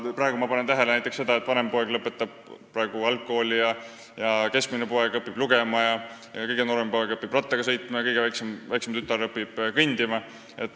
Praegu ma panen näiteks tähele seda, et vanem poeg lõpetab algkooli, keskmine poeg õpib lugema, kõige noorem poeg õpib rattaga sõitma ja kõige väiksem tütar õpib kõndima.